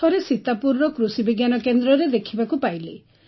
ଥରେ ସୀତାପୁରର କୃଷିବିଜ୍ଞାନ କେନ୍ଦ୍ରରେ ଦେଖିବାକୁ ପାଇଲି